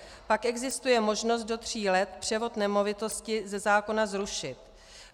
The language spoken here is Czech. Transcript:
Pak existuje možnost do tří let převod nemovitosti ze zákona zrušit.